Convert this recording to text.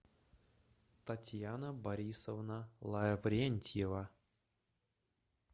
татьяна борисовна лаврентьева